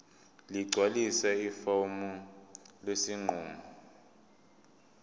ligcwalise ifomu lesinqumo